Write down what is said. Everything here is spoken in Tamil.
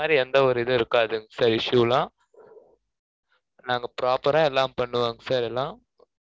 sorry எந்த ஒரு இதுவும் இருக்காது. issue லாம் நாங்க proper ஆ எல்லாம் பண்ணுவோம், sir எல்லாம்.